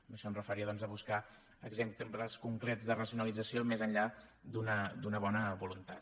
amb això em referia doncs a buscar exemples concrets de racionalització més enllà d’una bona voluntat